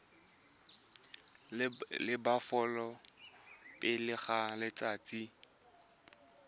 la bofelo pele ga letsatsi